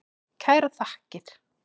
Kærar þakkir.